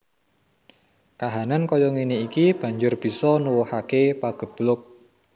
Kahanan kaya ngéné iki banjur bisa nuwuhaké pageblug